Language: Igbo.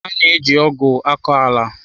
A na-eji ọgụ akọ ala.